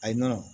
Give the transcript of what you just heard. Ayi nɔnɔ